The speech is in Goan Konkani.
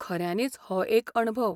खऱ्यानीच हो एक अणभव.